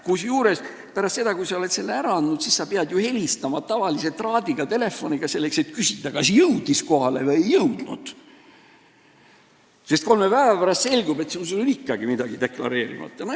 Kusjuures pärast seda, kui sa oled selle ära andnud, siis sa pead ju helistama tavalise traadiga telefoniga, et küsida, kas jõudis kohale või ei jõudnud, sest muidu kolme päeva pärast selgub, et sul on ikkagi midagi deklareerimata.